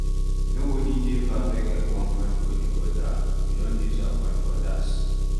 Nobody dey perfect at one point or di other we don disappoint odas